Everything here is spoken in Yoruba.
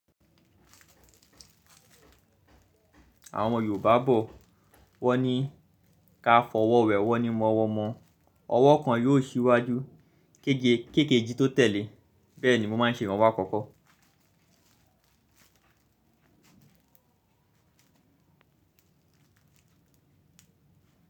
Àwọn Yorùbá bọ̀. Wọ́n ní ká fọwọ́ wẹ ọwọ́ ni mọ̀wọ́ mọ̀ọ́. Ọwọ́ kan yóò síwájú. Kèkejì tó tẹ̀lé. Bẹ́ẹ̀ ni mo máa ń ṣe iranwo àkọkọ.